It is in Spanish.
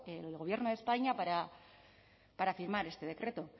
el gobierno de españa para firmar este decreto